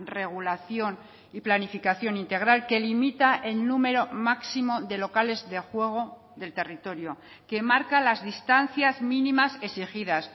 regulación y planificación integral que limita el número máximo de locales de juego del territorio que marca las distancias mínimas exigidas